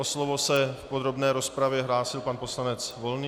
O slovo se v podrobné rozpravě hlásil pan poslanec Volný.